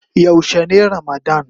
Yaushe ne ramadann.?